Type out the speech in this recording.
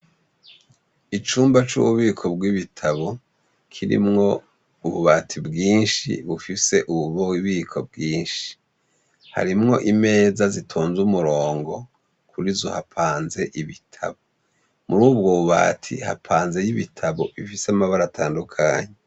Icumba c'ububiko bw'ibitabo, kirimwo ububati bwinshi bufise ububiko bwinshi. Harimwo imeza zitonze umurongo. Kurizo hapanze ibitabu. Murubwo bubati hapanze ibitabo bifise amabara atandukanye.